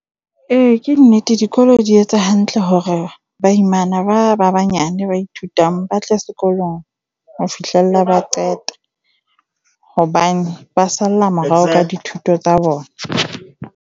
Eya, ke nnete. Dikolo di etsa hantle hore baimana ba ba banyane ba ithutang ba tle sekolong ho fihlella ba qeta hobane ba salla morao ka dithuto tsa bona.